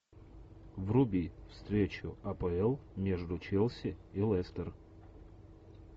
вруби встречу апл между челси и лестер